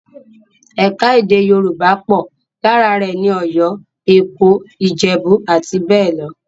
Ẹ̀ka-èdè Yorùbá pọ̀, lára rẹ̀ ni Ọ̀yọ́, Èkó, Ìjẹ̀bú, àti bẹ́ẹ̀ lọ.